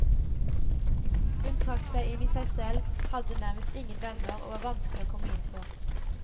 Hun trakk seg inn i seg selv, hadde nærmest ingen venner og var vanskelig å komme inn på.